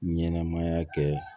Ɲɛnɛmaya kɛ